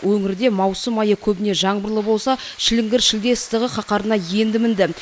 өңірде маусым айы көбіне жаңбырлы болса шіліңгір шілде ыстығы қаһарына енді мінді